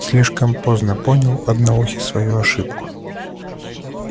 слишком поздно понял одноухий свою ошибку